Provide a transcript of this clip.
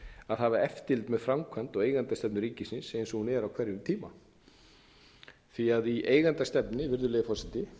að hafa eftirlit með framkvæmd og eigendastefnu ríkisins eins og hún er á hverjum tíma í eigendastefnunni virðulegi forseti